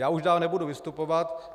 Já už dál nebudu vystupovat.